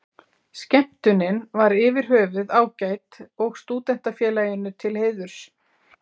Skemmtunin var yfir höfuð ágæt og Stúdentafélaginu til heiðurs.